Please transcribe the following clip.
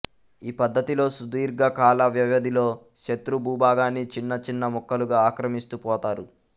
ఈ పద్ధతిలో సుదీర్ఘ కాలవ్యవధిలో శత్రు భూభాగాన్ని చిన్న చిన్న ముక్కలుగా ఆక్రమిస్తూ పోతారు